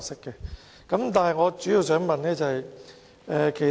然而，我主要想問一個問題。